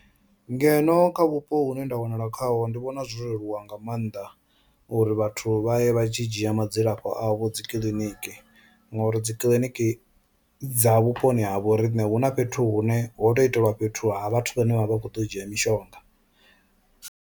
Ngeno kha vhupo hune nda wanala khaho ndi vhona zwo leluwa nga maanḓa uri vhathu vha ye vha tshi dzhia madzilafho avho dzi kiḽiniki ngori dzi kiḽiniki dza vhuponi ha vho riṋe hu na fhethu hune ho to itelwa fhethu ha vhathu vhane vha vha kho ḓo u dzhia mishonga.